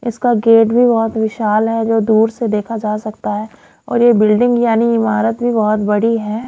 इसका गेट भी बहोत विशाल है जो दूर से देखा जा सकता है और ये बिल्डिंग यानी इमारत भी बहोत बड़ी है।